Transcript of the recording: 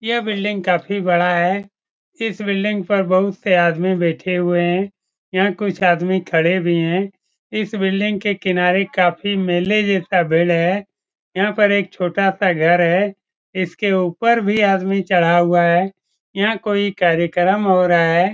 यह बिल्डिंग काफी बड़ा है। इस बिल्डिंग पर बहुत से आदमी बैठे हुए है। यहाँ कुछ आदमी खड़े भी है। इस बिल्डिंग के किनारे काफी मेले जैसा भीड़ है। यहाँ पर एक छोटा सा घर है। इसके ऊपर भी आदमी चढ़ा हुआ है। यहाँ कोई कार्यक्रम हो रहा है।